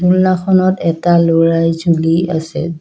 জুলনাখনত এটা ল'ৰাই জুলি আছে।